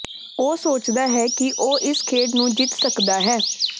ਉਹ ਸੋਚਦਾ ਹੈ ਕਿ ਉਹ ਇਸ ਖੇਡ ਨੂੰ ਜਿੱਤ ਸਕਦਾ ਹੈ